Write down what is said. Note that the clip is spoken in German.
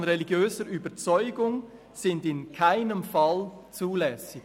] religiöser Überzeugung sind in keinem Fall zulässig.